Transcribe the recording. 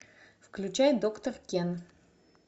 включай доктор кен